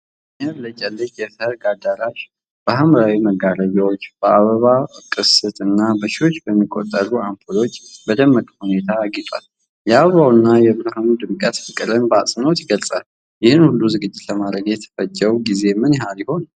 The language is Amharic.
የሚያብለጨልጭ የሠርግ አዳራሽ በሀምራዊ መጋረጃዎች፣ በአበቦች ቅስት እና በሺዎች በሚቆጠሩ አምፖሎች በደመቀ ሁኔታ አጊጧል። የአበባው እና የብርሃኑ ድምቀት ፍቅርን በአጽንዖት ይገልጻል። ይህን ሁሉ ዝግጅት ለማድረግ የተፈጀው ጊዜ ምን ያህል ይሆን?